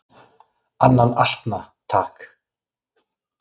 """Annan asna, takk!"""